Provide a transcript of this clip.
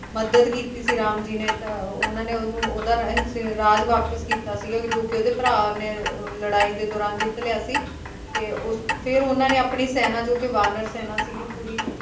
ਮੱਦਦ ਕੀਤੀ ਸੀ ਰਾਮ ਜੀ ਨੇ ਤਾਂ ਉਹਨਾਂ ਨੇ ਉਹਨੂੰ ਉਹਦਾ ਰਹਿਸੀਆ ਰਾਜ ਵਾਪਸ ਕੀਤਾ ਸੀਗਾ ਜੋ ਕੇ ਉਹਦੇ ਭਰਾ ਨੇ ਅਹ ਲੜਾਈ ਦੇ ਦੌਰਾਨ ਜਿੱਤ ਲਿਆ ਸੀ ਤੇ ਉਸ ਫਿਰ ਉਹਨਾਂ ਨੇ ਆਪਣੀ ਸੈਨਾ ਜੋ ਕੇ ਵਾਨਰ ਸੈਨਾ ਸੀ ਪੂਰੀ